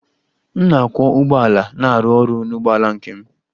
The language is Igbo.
M na-akwọ ụgbọala na-arụ ọrụ n'ụgbọala nke m.